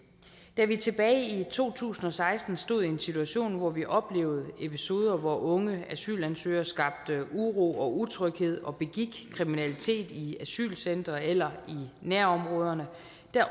da vi tilbage i to tusind og seksten stod i en situation hvor vi oplevede episoder hvor unge asylansøgere skabte uro og utryghed og begik kriminalitet i asylcentre eller i nærområderne